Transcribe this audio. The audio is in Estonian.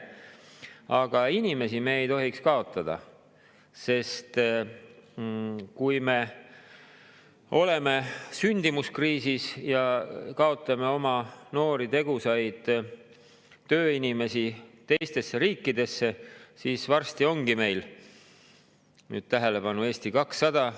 Aga inimesi me ei tohiks kaotada, sest kui me oleme sündimuskriisis ja kaotame oma noori tegusaid tööinimesi teistesse riikidesse, siis varsti ongi meil – nüüd tähelepanu, Eesti 200!